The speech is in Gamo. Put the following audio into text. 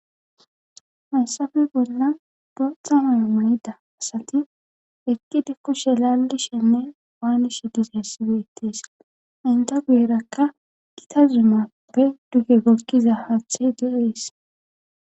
Haysafe bolla doxa aa mayida asati ekkidi koshe lallishenne waanishe dizessiwe ittees inda guyerakka gita zumappe duge gokkiza haathe de'ees.